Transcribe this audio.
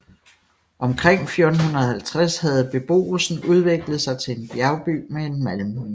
Omkring 1450 havde beboelsen udviklet sig til en bjerby med en malmmine